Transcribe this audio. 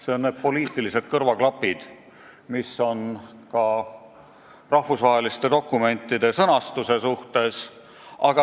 Mõtlen neid poliitilisi kõrvaklappe, mis on pandud ka rahvusvaheliste dokumentide sõnastusele.